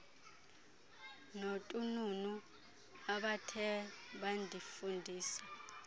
notununu abathe bandifundisa